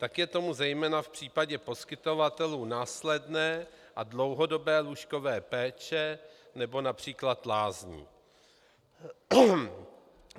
Tak je tomu zejména v případě poskytovatelů následné a dlouhodobé lůžkové péče nebo například lázní.